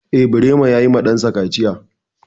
Eh, Birema ya yi ma ɗan sa kaciya.